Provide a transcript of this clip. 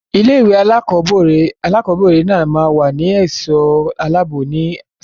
Ilé-ìwé alákọ̀ọ́bẹ̀rẹ̀ náà máa ní ẹ̀ṣọ́ aláàbò ní sáà tí ó ń bọ̀.